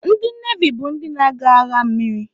Ndị Nevi bụ ndị na-aga agha mmiri